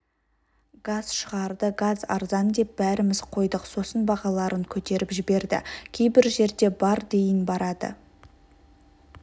газ шығарды газ арзан деп бәріміз қойдық сосын бағаларын көтеріп жіберді кейбір жерде бар дейін барады